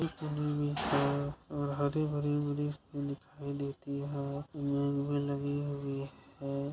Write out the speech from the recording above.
शाम के समय किनारे पर कई पेड़ पर पानी गिरने का दृश्य--